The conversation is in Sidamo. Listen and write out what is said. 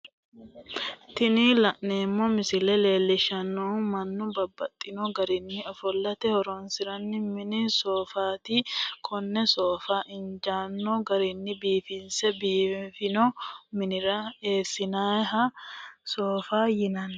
Tini la'neemo misile leellishanohu mannu babaxxino garinni ofolate horonsiranoha mini soofatti kone soofa injaano garini biifinse biifino minira eesinnannihha soofaho yinanni